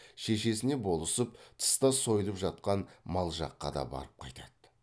шешесіне болысып тыста сойылып жатқан мал жаққа да барып қайтады